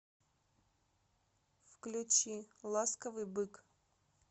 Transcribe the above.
включи ласковый бык